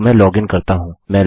तो मैं लॉगिन करता हूँ